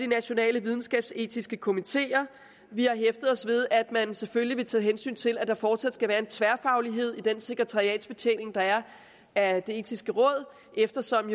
nationale videnskabsetiske komité vi har hæftet os ved at man selvfølgelig vil tage hensyn til at der fortsat skal være en tværfaglighed i den sekretariatsbetjening der er af det etiske råd eftersom